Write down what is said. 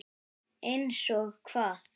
Einsog hvað?